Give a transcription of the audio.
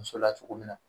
Muso la cogo min na